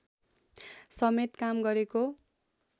समेत काम गरेको